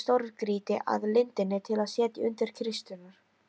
Þeir veltu stórgrýti að lindinni til að setja undir kisturnar.